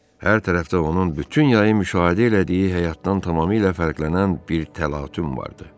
Hər tərəfdə onun bütün yay müşahidə elədiyi həyatdan tamamilə fərqlənən bir təlatüm vardı.